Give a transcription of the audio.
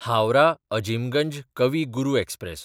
हावराह–अजिमगंज कवी गुरू एक्सप्रॅस